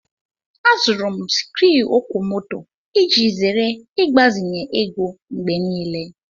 Azụrụ m sikruuokwomoto iji zere ịgbazinye ego mgbe niile